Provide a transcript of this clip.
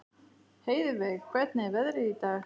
Heiðveig, hvernig er veðrið í dag?